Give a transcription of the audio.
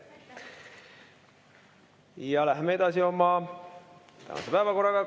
Läheme oma päevakorraga edasi.